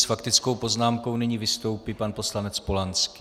S faktickou poznámkou nyní vystoupí pan poslanec Polanský.